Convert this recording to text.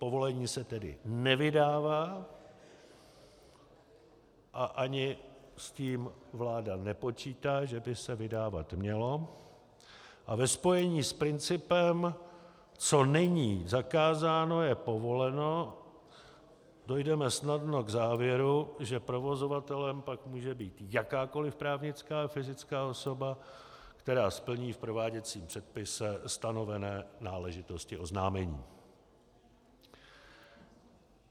Povolení se tedy nevydává, a ani s tím vláda nepočítá, že by se vydávat mělo, a ve spojení s principem co není zakázáno, je povoleno, dojdeme snadno k závěru, že provozovatelem pak může být jakákoliv právnická a fyzická osoba, která splní v prováděcím předpise stanovené náležitosti oznámení.